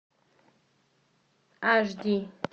аш ди